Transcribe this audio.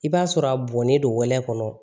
I b'a sɔrɔ a bɔnnen don wɛlɛn kɔnɔ